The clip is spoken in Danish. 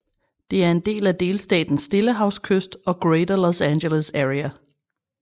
Det er en del af delstatens stillehavskyst og Greater Los Angeles Area